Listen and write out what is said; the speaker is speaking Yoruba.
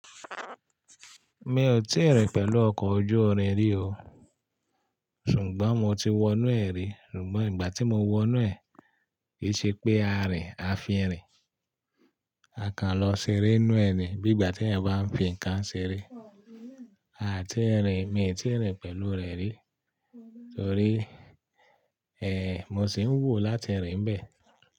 Mi ò tí rìn pẹ̀lú ọkọ̀ ojú-irin rí o. Ṣùgbọ́n mo ti wọ inú ẹ̀ rí, ṣùgbọ́n ìgbà tí mo wọ inú ẹ̀, ki ṣe pé a rìn, a fi ń rìn. A kan lọ ṣeré ninú ẹ̀ ni bí ìgbà tí eeyan bá ń fi ǹkan ṣeré. Aà tí ẹ̀ rìn, mi ò tíì rìn pẹ̀lú rẹ̀ rí torí, ẹ́, mo sì ń wo láti rìn bẹ̀